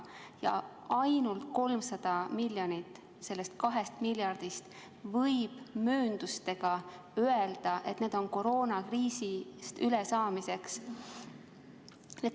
Ja ainult 300 miljonit sellest 2 miljardist, võib mööndustega öelda, on koroonakriisist ülesaamiseks.